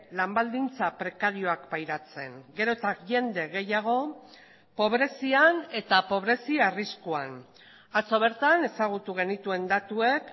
lan baldintza prekarioak pairatzen gero eta jende gehiago pobrezian eta pobrezi arriskuan atzo bertan ezagutu genituen datuek